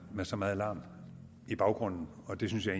med så megen larm i baggrunden og det synes jeg